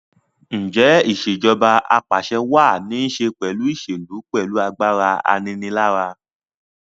Ǹjẹ́ Ìṣèjọba Ap'àṣẹwàá ní ṣe pẹ̀lú ìṣèlú pẹ̀lú agbára aninilára?